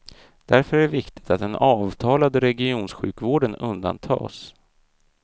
Därför är det viktigt att den avtalade regionsjukvården undantas.